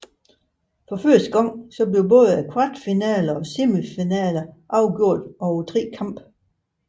For første gang blev både kvartfinaler og semifinaler afgjort over tre kampe